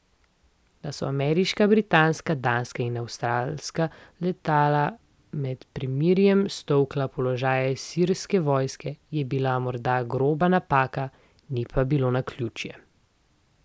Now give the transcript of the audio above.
Da so ameriška, britanska, danska in avstralska letala med premirjem stolkla položaje sirske vojske, je bila morda groba napaka, ni pa bilo naključje.